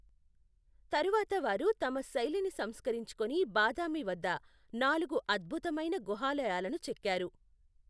తరువాత వారు తమ శైలిని సంస్కరించుకొని బాదామి వద్ద నాలుగు అద్భుతమైన గుహాలయాలను చెక్కారు.